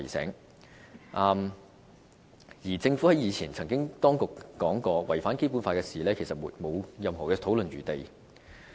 此外，政府當局以前也曾說過，任何違反《基本法》的事情都是沒有討論餘地的。